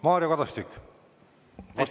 Mario Kadastik, vastusõnavõtt.